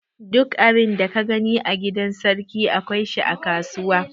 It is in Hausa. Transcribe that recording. Duk abin da ka gani a gidan sarki, akwai shi a kasuwa.